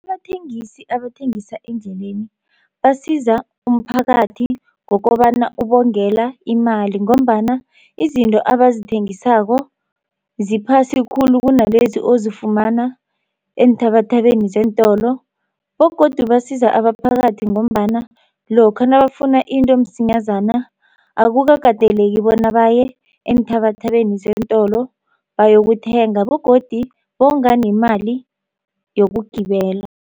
Abathengisi abathengisa eendleleni basiza umphakathi ngokobana ubongela imali ngombana izinto abazithengisako ziphasi khulu kunalezi ozifumana eenthabathabeni zeentolo bogodu basiza abaphakathi ngombana lokha nabafuna into msinyazana akukakateleki bona baye eenthabathabeni zeentolo bayokuthenga begodi bonga nemali yokugibela.